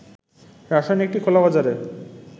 রাসায়নিকটি খোলাবাজারে